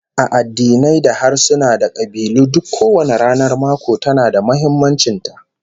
A addinai da harsuna da kabilu duk kowanne ranar mako tana da muhimmancin ta